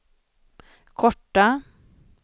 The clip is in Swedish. korta